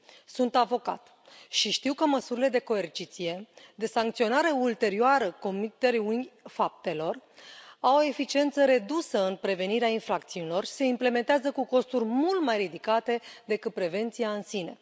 Sunt avocat și știu că măsurile de coerciție, de sancționare ulterioară comiterii faptelor au eficiență redusă în prevenirea infracțiunilor și se implementează cu costuri mult mai ridicate decât prevenția în sine.